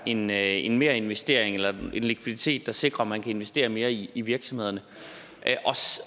en en merinvestering en likviditet der sikrer at man kan investere mere i i virksomhederne